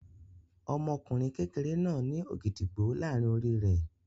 Ọmọkùnrin kékeré náà ní ògìdìgbó láàárin orí rẹ̀.